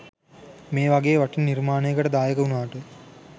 මේ වගේ වටින නිර්මාණයකට දායක වුණාට